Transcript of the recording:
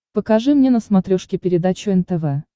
покажи мне на смотрешке передачу нтв